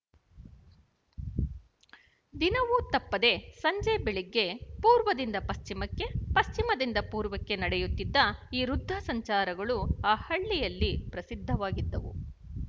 ದಿನವೂ ತಪ್ಪದೆ ಸಂಜೆ ಬೆಳಗ್ಗೆ ಪೂರ್ವದಿಂದ ಪಶ್ಚಿಮಕ್ಕೆ ಪಶ್ಚಿಮದಿಂದ ಪೂರ್ವಕ್ಕೆ ನಡೆಯುತ್ತಿದ್ದ ಈ ವೃದ್ಧಸಂಚಾರಗಳು ಆ ಹಳ್ಳಿಯಲ್ಲಿ ಪ್ರಸಿದ್ಧವಾಗಿದ್ದವು